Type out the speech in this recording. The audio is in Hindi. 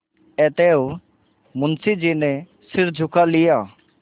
अतएव मुंशी जी ने सिर झुका लिया